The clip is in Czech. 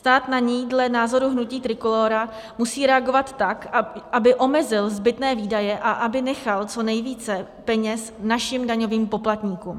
Stát na ni dle názoru hnutí Trikolóra musí reagovat tak, aby omezil zbytné výdaje a aby nechal co nejvíce peněz našim daňovým poplatníkům.